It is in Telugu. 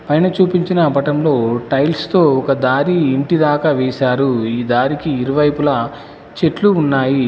పైన చూపించిన పటంలో టైల్స్ తో ఒక దారి ఇంటిదాకా వేశారు ఈ దారికి ఇరువైపులా చెట్లు ఉన్నాయి.